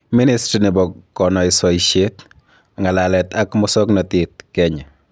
Ministry nebo konoisoisiet, ng'alalet ak musoknotet ,Kenya